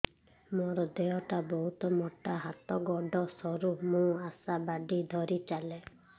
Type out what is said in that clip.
ମୋର ଦେହ ଟା ବହୁତ ମୋଟା ହାତ ଗୋଡ଼ ସରୁ ମୁ ଆଶା ବାଡ଼ି ଧରି ଚାଲେ